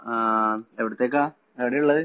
ആ, എവിടത്തെക്കാ? എവിടെയാ ഉള്ളത്.